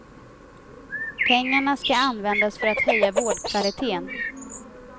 Pengarna ska användas för att höja vårdkvaliteten.